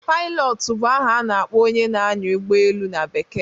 Pailọt bụ aha na-akpọ onye na-anyá ụgbọelu na Bekee